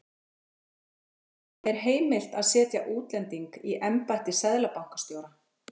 Heimild: Er heimilt að setja útlending í embætti seðlabankastjóra?